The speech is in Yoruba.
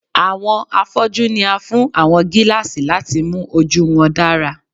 Awọn afọju ni a fun awọn gilaasi lati mu oju wọn dara